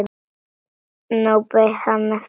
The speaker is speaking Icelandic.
Nú beið hann eftir henni.